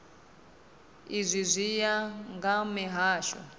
izwi zwi ya nga mihasho